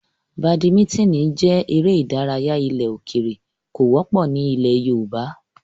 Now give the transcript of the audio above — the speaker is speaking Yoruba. Badimítìnì jẹ́ eré ìdárayá ilẹ̀ òkèrè, kò wọ́pọ̀ ní ilẹ̀ yoòbá